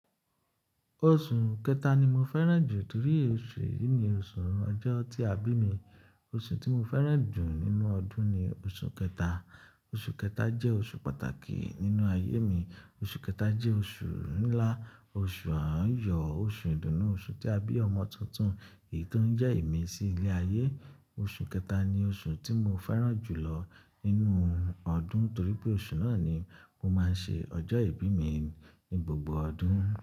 Oṣù kẹta ni mo fẹ́ràn jù torí oṣù yìí ni oṣù ọjọ́ tí a bí mi. Oṣù tí mo fẹ́ràn jù nínú ọdún ni oṣù kẹta. Oṣù kẹta jẹ́ oṣù pàtàkì nínú ayé mi. Oṣù kẹta jẹ́ oṣù ńlá, oṣù àáyò, oṣù ìdùnnú, oṣù tí a bí ọmọ tuntun, èyí tó ń jẹ́ emí sí ilé ayé. Oṣù kẹta ni oṣù tí mo fẹ́ràn jù lọ nínú ọdún torí pé oṣù náà ni mo máa ń ṣe ọjọ́ ìbí mi ní gbogbo ọdún.